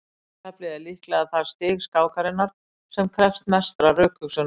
endataflið er líklega það stig skákarinnar sem krefst mestrar rökhugsunar